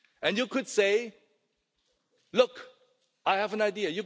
You could say, look, I have an